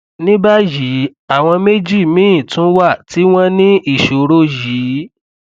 ní báyìí àwọn méjì míì tún wà tí wọn ní ìṣòro yìí